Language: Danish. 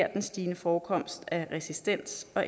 at den stigende forekomst af resistens og